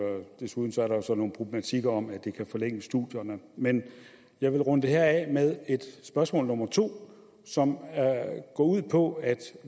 desuden er der jo så nogle problematikker om at det kan forlænge studierne men jeg vil runde det her af med et spørgsmål to som går ud på at